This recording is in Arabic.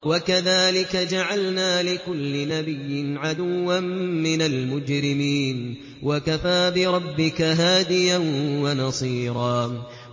وَكَذَٰلِكَ جَعَلْنَا لِكُلِّ نَبِيٍّ عَدُوًّا مِّنَ الْمُجْرِمِينَ ۗ وَكَفَىٰ بِرَبِّكَ هَادِيًا وَنَصِيرًا